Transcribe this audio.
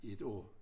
I et år